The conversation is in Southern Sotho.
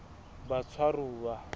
batshwaruwa